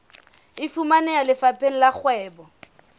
e fumaneha lefapheng la kgwebo